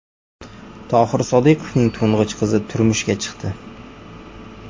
Tohir Sodiqovning to‘ng‘ich qizi turmushga chiqdi .